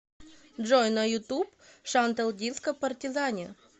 джой на ютуб шантел диско партизани